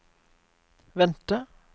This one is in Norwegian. vente